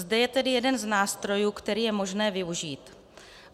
Zde je tedy jeden z nástrojů, který je možné využít.